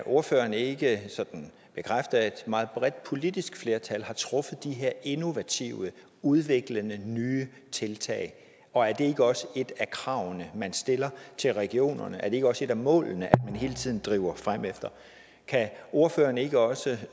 ordføreren ikke bekræfte at et meget bredt politisk flertal har truffet de her innovative udviklende nye tiltag og er det ikke også et af kravene man stiller til regionerne er det ikke også et af målene at man hele tiden driver fremefter kan ordføreren ikke også